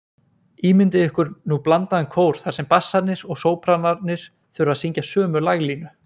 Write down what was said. Ímyndið ykkur nú blandaðan kór þar sem bassarnir og sópranarnir þurfa að syngja sömu laglínu.